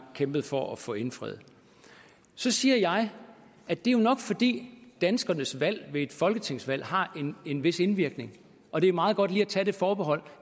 kæmpet for at få indfriet så siger jeg at det jo nok er fordi danskernes valg ved et folketingsvalg har en vis indvirkning og det er meget godt lige at tage det forbehold